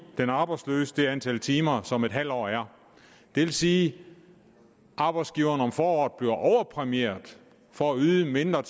den arbejdsløse det antal timer som en halv år er det vil sige at arbejdsgiveren om foråret bliver overpræmieret for at yde mindre